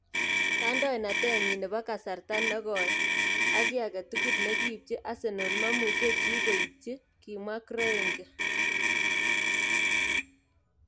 Kandoinatet nyin nebo kasarta ne goi ak ki aketugul ne kiipchi Arsenal mamuchi chi koitchi, kimwa Kroenke.